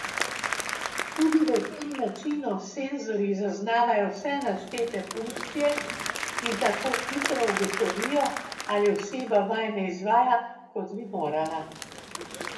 Tudi v tem načinu senzorji zaznavajo vse naštete funkcije in tako hitro ugotovijo, ali oseba vaj ne izvaja, kot bi morala.